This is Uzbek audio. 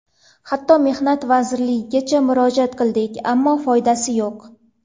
Hatto Mehnat vazirligigacha murojaat qildik, ammo foydasi yo‘q.